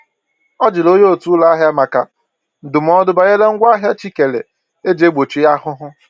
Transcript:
Ọ jụrụ ónyé otu ụlọ ahịa maka ndụmọdụ banyere ngwa ahịa chi kèrè eji egbochi ahụhụ